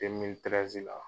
demili tirɛzi la